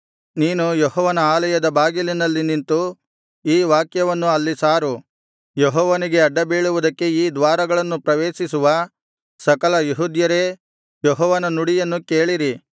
ನೀನು ಯೆಹೋವನ ಆಲಯದ ಬಾಗಿಲಿನಲ್ಲಿ ನಿಂತು ಈ ವಾಕ್ಯವನ್ನು ಅಲ್ಲಿ ಸಾರು ಯೆಹೋವನಿಗೆ ಅಡ್ಡಬೀಳುವುದಕ್ಕೆ ಈ ದ್ವಾರಗಳನ್ನು ಪ್ರವೇಶಿಸುವ ಸಕಲ ಯೆಹೂದ್ಯರೇ ಯೆಹೋವನ ನುಡಿಯನ್ನು ಕೇಳಿರಿ